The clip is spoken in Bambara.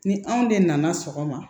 Ni anw de nana sɔgɔma